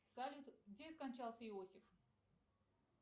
салют где скончался иосиф